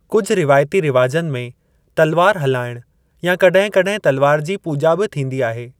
कुझु रिवाइती रिवाजनि में तलवार हलाइणु या कड॒हिं कड॒हिं तलवार जी पूॼा बि थींदी आहे।